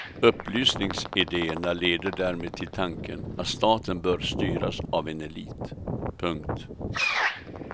Upplysningsidéerna leder därmed till tanken att staten bör styras av en elit. punkt